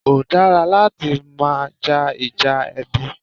Kò dára láti máa ja Ìjà ẹbí